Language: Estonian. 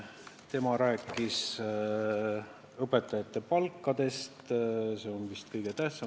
Tema rääkis õpetajate palkadest, mis on vist kõige tähtsam.